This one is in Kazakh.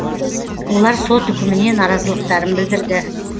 олар сот үкіміне наразылықтарын білдірді